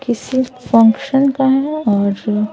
किसी फंक्शन का हैं और फिर--